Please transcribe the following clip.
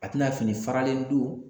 A tina fini faralen don